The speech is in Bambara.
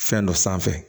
Fɛn dɔ sanfɛ